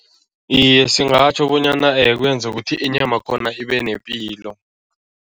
Iye, singatjho bonyana kwenza ukuthi inyamakhona ibe nepilo.